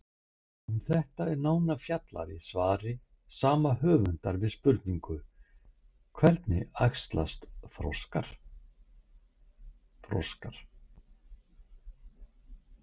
Um þetta er nánar fjallað í svari sama höfundar við spurningunni Hvernig æxlast froskar?